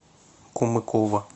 кумыкова